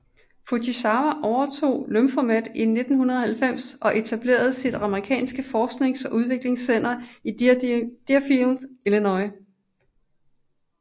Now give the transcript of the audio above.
Fujisawa overtog Lyphomed i 1990 og etablerede sit amerikanske forsknings og udviklingscenter i Deerfield i Illinois